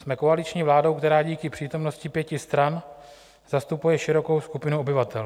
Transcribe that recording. Jsme koaliční vládou, která díky přítomnosti pěti stran zastupuje širokou skupinu obyvatel.